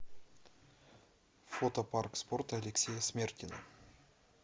фото парк спорта алексея смертина